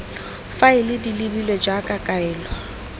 faele di lebilwe jaaka kaelo